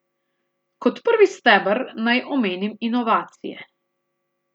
Kot prvi steber naj omenim inovacije.